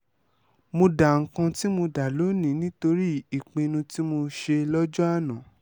mo dá nǹkan tí mo dá lónìí nítorí ìpinnu tí mo ṣe lọ́jọ́ àná